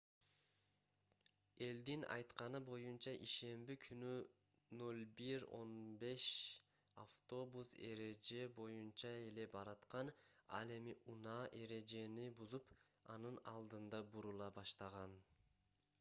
элдин айтканы боюнча ишемби күнү 01:15 автобус эреже боюнча эле бараткан ал эми унаа эрежени бузуп анын алдында бурула баштаган